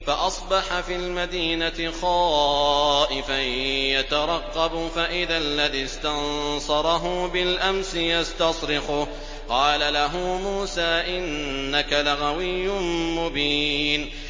فَأَصْبَحَ فِي الْمَدِينَةِ خَائِفًا يَتَرَقَّبُ فَإِذَا الَّذِي اسْتَنصَرَهُ بِالْأَمْسِ يَسْتَصْرِخُهُ ۚ قَالَ لَهُ مُوسَىٰ إِنَّكَ لَغَوِيٌّ مُّبِينٌ